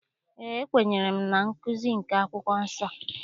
Eé, ekwenyere m na nkụzi nke akwụkwọ nsọ.